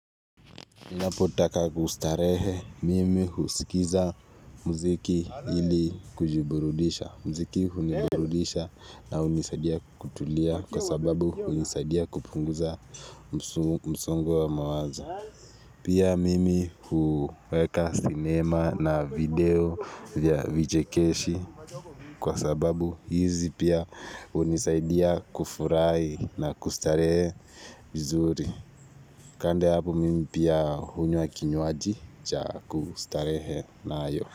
Ninapotaka kustarehe mimi husikiza mziki ili kujiburudisha. Mziki huniburudisha na hunisaidia kutulia kwa sababu hunisaidia kupunguza msungo wa mawazo. Pia mimi huweka sinema na video vya vichekeshi kwa sababu hizi pia hunisaidia kufurahi na kustarehe mzuri. Kando ya hapo mimi pia hunywa kinywaji cha kustarehe nayo.